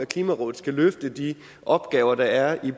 klimarådet skal løfte de opgaver der er i